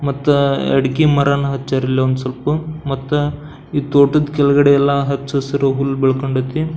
ಮತ್ತ ಅಡಿಕೆ ಮರನ ಹಚ್ಯಾರ ಇಲ್ ಒಂದ್ ಸ್ವಲ್ಪ ಮತ್ತ ಈ ತೋಟದ್ ಕೆಳಗಡೆ ಎಲ್ಲ ಹಚ್ಚ ಹಸಿರು ಹುಲ್ಲು ಬೆಳ್ಕೊಂಡೈತಿ.